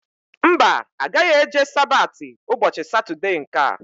Mba, agaghị eje Sabati ụbọchị Satọdee nkea